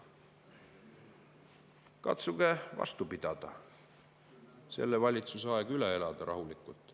Katsuge vastu pidada, selle valitsuse aeg rahulikult üle elada.